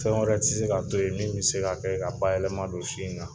Fɛn wɛrɛ tɛ se ka to ye min bɛ se ka kɛ ka bayɛlɛman don si in na.